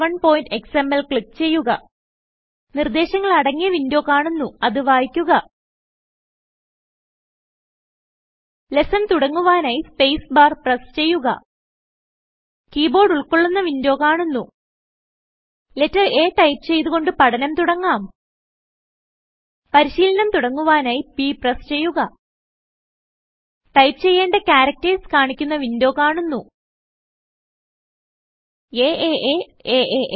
basic lesson 01xmlക്ലിക്ക് ചെയ്യുക നിർദേശങ്ങൾ അടങ്ങിയ വിന്ഡോ കാണുന്നുഅത് വായിക്കുക ലെസ്സൺ തുടങ്ങുവാനായി സ്പേസ് ബാർ പ്രസ് ചെയ്യുക കീ ബോർഡ് ഉൾകൊള്ളുന്ന വിൻഡോ കാണുന്നു ലെറ്റർ a ടൈപ്പ് ചെയ്തു കൊണ്ട് പഠനം തുടങ്ങാം പരിശീലനം തുടങ്ങുവാനായി p പ്രസ് ചെയ്യുക ടൈപ്പ് ചെയ്യേണ്ട ക്യാരക്ടർസ് കാണിക്കുന്ന വിൻഡോ കാണുന്നു ആ aaa